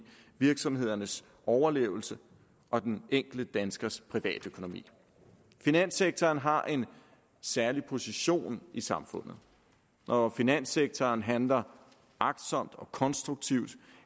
virksomhedernes overlevelse og den enkelte danskers privatøkonomi finanssektoren har en særlig position i samfundet når finanssektoren handler agtsomt og konstruktivt